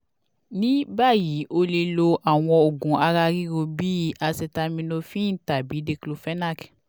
ni bayi o le lo awọn oogun ara riro bi cs] acetaminophen tabi diclofenac